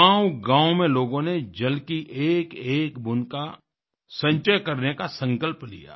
गाँवगाँव में लोगों ने जल की एकएक बूंद का संचय करने का संकल्प लिया